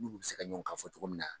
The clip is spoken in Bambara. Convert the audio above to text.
N'olu bi se ka ɲɔgɔn kan fɔ cogo min na